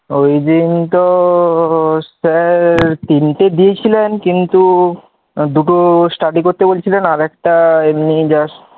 ঐ দিন তো sir তিনটে দিয়েছিল অঙ্কে, কিন্তু দুটো study করতে বলেছিলেন আর একটা এমনি just